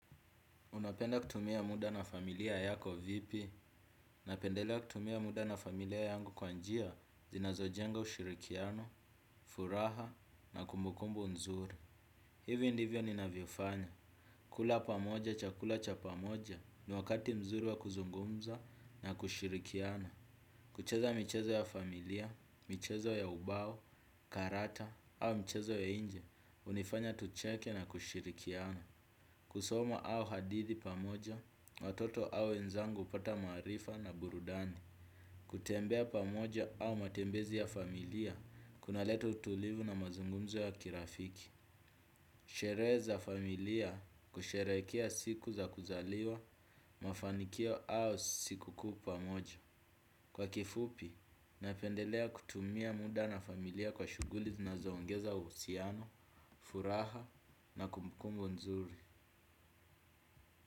Unapenda kutumia muda na familia yako vipi napendela kutumia muda na familia yangu kwa njia zinazojenga ushirikiano, furaha na kumbukumbu mzuri. Hivi ndivyo ninavyofanya. Kula pamoja chakula cha pamoja ni wakati mzuri wa kuzungumza na kushirikiano. Kucheza michezo ya familia, mchezo ya ubao, karata au mchezo ya inje, unifanya tucheke na kushirikiana. Kusoma au hadithi pamoja, watoto au wenzangu hupata maarifa na burudani. Kutembea pamoja au matembezi ya familia, kunaleta utulivu na mazungumzo ya kirafiki. Sherehe za familia, kusherekea siku za kuzaliwa, mafanikio au sikukuu pamoja. Kwa kifupi, napendelea kutumia muda na familia kwa shuguli zinazaongeza uhusiano, furaha na kumbukumbu nzuri.